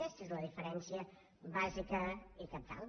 aquesta és la diferència bàsica i cabdal